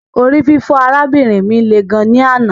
Orififo arabinrin mi le gan ni anna